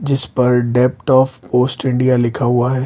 जिस पर depth of post India लिखा हुआ है।